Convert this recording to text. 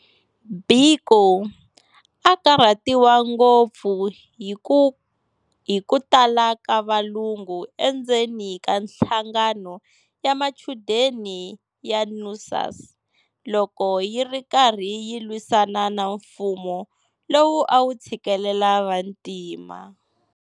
Biko a a karhatiwa ngopfu hi kutala ka valungu endzeni ka nhlangano ya machudeni ya NUSAS, loko yiri karhi yilwisana na mfumo lowu a wu tshikelela vantima.